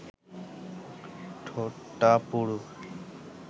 ঠোঁটটা পুরু